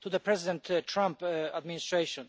to the President Trump administration.